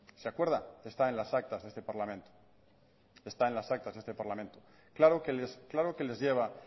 se acuerda está en las actas de este parlamento claro que les lleva